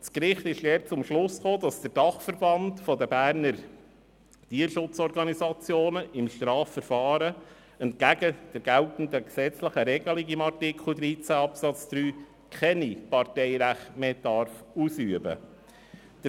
Das Gericht kam dabei zum Schluss, dass der Dachverband Berner Tierschutzorganisationen (DBT) im Strafverfahren entgegen der geltenden gesetzlichen Regelungen von Artikel 13 Absatz 3 kein Parteirecht mehr ausüben darf.